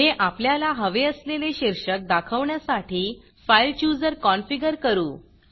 पुढे आपल्याला हवे असलेले शीर्षक दाखवण्यासाठी फाइल Chooserफाइल चुजर कॉनफिगर करू